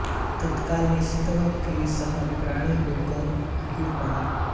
तत्काल नचिकेता का शरीर प्राणहीन होकर गिर पड़ा